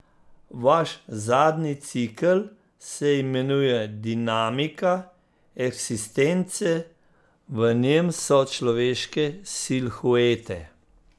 Vaš zadnji cikel se imenuje Dinamika eksistence, v njem so človeške silhuete.